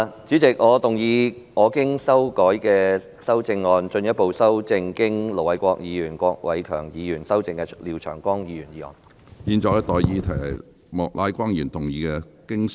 主席，我動議我經修改的修正案，進一步修正經盧偉國議員及郭偉强議員修正的廖長江議員議案。